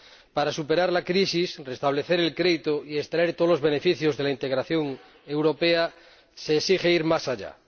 Para superar la crisis, restablecer el crédito y extraer todos los beneficios de la integración europea se exige ir más allá.